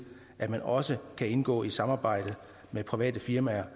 at man også kan indgå i samarbejde med private firmaer